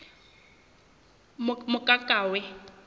mokakawe